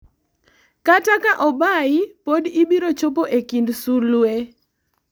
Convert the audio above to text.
Kata ka obayi, pod ibiro chopo e kind sulwe"